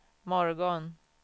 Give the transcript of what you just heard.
morgon